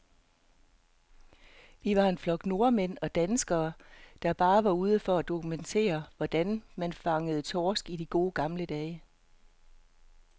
Vi var en flok nordmænd og danskere, der bare var ude for at dokumentere, hvordan man fangede torsk i de gode, gamle dage.